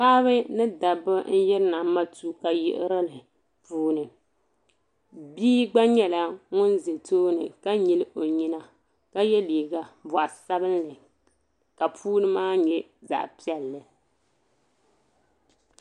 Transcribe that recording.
Paɣba ni dabba yiri na matuuka yiɣirigu puuni bia gba yɛla wuŋ zɛ tooni ka nyili o nyina ka yɛ liiga bɔɣu sabinli ka puuni maa nyɛ zaɣi piɛli.